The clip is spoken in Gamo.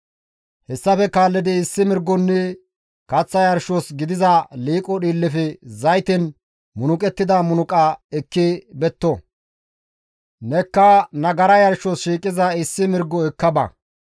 Hessafe kaallidi issi mirgonne kaththa yarshos gidiza liiqo dhiillefe zayten munuqettida munuqa ekki betto; nekka nagara yarshos shiiqiza issi mirgo ekka ba.